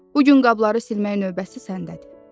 Bu gün qabları silmək növbəsi səndədir.